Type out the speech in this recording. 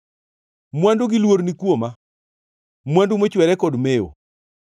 Mwandu gi luor ni kuoma, mwandu mochwere kod mewo.